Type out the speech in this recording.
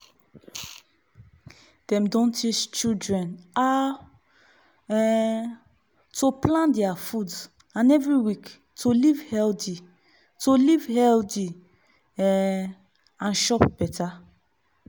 dem don teach children how um to plan deir food every week to live healthy to live healthy um and chop better